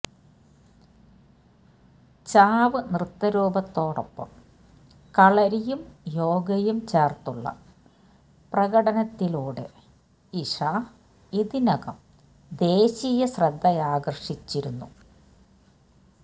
ചാവ് നൃത്തരൂപത്തോടൊപ്പം കളരിയും യോഗയും ചേര്ത്തുള്ള പ്രകടനത്തിലൂടെ ഇഷ ഇതിനകം ദേശീയ ശ്രദ്ധയാകര്ഷിച്ചിരുന്നു